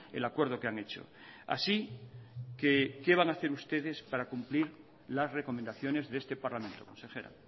el acuerdo que han hecho así que qué van han hacer ustedes para cumplir las recomendaciones de este parlamento consejera